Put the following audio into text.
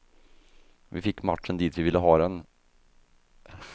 Vi fick matchen dit vi ville ha den.